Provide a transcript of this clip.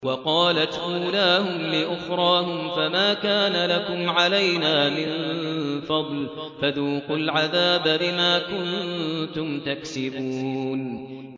وَقَالَتْ أُولَاهُمْ لِأُخْرَاهُمْ فَمَا كَانَ لَكُمْ عَلَيْنَا مِن فَضْلٍ فَذُوقُوا الْعَذَابَ بِمَا كُنتُمْ تَكْسِبُونَ